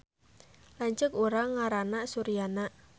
Lanceuk urang ngaranna Suryana